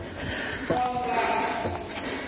maungani